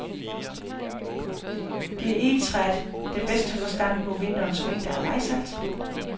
Det er egetræet, der bedst holder stand mod vinterens mængder af vejsalt.